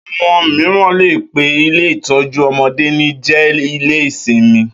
Àwo̩n mìíràn lè pe ilé ìtó̩jú o̩mo̩dé ní jé̩-ilé-simi